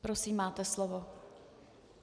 Prosím, máte slovo.